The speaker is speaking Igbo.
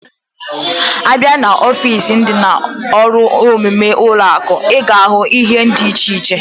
Abia na ọfịs ndi na-aru nime ụlọ akụ, iga ahu ihe diche iche.